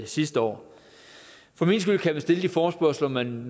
sidste år for min skyld kan man stille de forespørgsler man